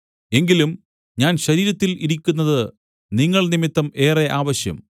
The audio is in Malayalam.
എങ്കിലും ഞാൻ ശരീരത്തിൽ ഇരിക്കുന്നത് നിങ്ങൾ നിമിത്തം ഏറെ ആവശ്യം